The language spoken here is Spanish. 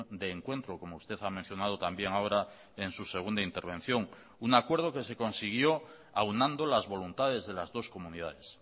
de encuentro como usted ha mencionado también ahora en su segunda intervención un acuerdo que se consiguió aunando las voluntades de las dos comunidades